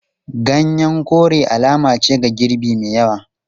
Ganyen kore alama ce ga girbi mai yawa.